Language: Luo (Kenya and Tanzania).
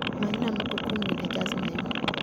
manyna moko kuom wende jaz mayom